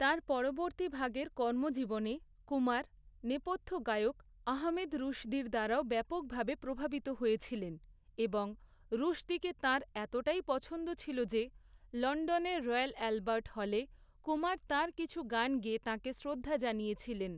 তাঁর পরবর্তী ভাগের কর্মজীবনে, কুমার, নেপথ্য গায়ক আহমেদ রুশদির দ্বারাও ব্যাপকভাবে প্রভাবিত হয়েছিলেন, এবং রুশদিকে তাঁর এতটাই পছন্দ ছিল যে, লণ্ডনের রয়্যাল অ্যালবার্ট হলে, কুমার তাঁর কিছু গান গেয়ে তাঁকে শ্রদ্ধা জানিয়েছিলেন।